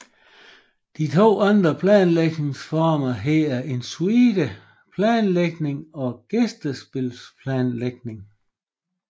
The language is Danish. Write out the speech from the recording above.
De to andre planlægningsformer hedder en suite planlægning og gæstespilsplanlægning